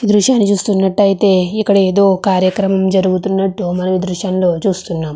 ఈ దృశ్యాన్ని చూస్తున్నట్టయితే ఇక్కడ ఏదో కార్యక్రమం జరుగుతున్నట్టు మనము ఈ దృశ్యం లో చూస్తున్నాము.